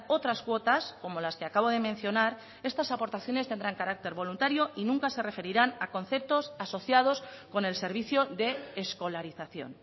otras cuotas como las que acabo de mencionar estas aportaciones tendrán carácter voluntario y nunca se referirán a conceptos asociados con el servicio de escolarización